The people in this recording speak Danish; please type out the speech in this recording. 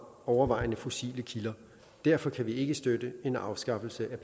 overvejende fossile kilder derfor kan vi ikke støtte en afskaffelse